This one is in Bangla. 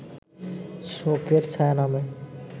শোকের ছায়া নামে